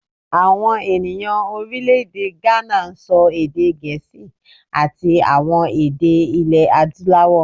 Àwọn ènìyàn Orílèdè Gánà n sọ èdè gèésì àti àwọn èdè ilé adúláwò